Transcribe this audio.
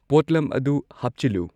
ꯄꯣꯠꯂꯝ ꯑꯗꯨ ꯍꯥꯞꯆꯤꯜꯂꯨ